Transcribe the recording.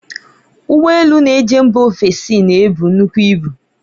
Ụgbo elu na-eje mba ofesi na-ebu nnukwu ibu.